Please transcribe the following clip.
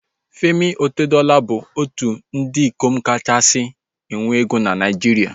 Femi Otedola bụ otu n'ime ndị ikom kachasị nwee ego na Naijiria